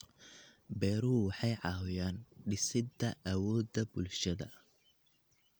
Beeruhu waxay caawiyaan dhisidda awoodda bulshada.